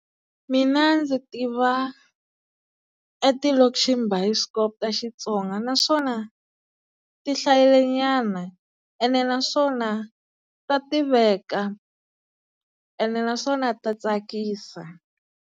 Mina ndzi tiva eti lokship biskop ta Xitsonga, naswona ti hlayile nyana ene naswona ta tiveka ene naswona ta tsakisa.